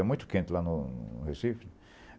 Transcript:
É muito quente lá no no Recife.